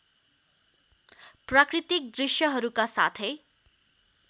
प्राकृतिक दृश्यहरूका साथै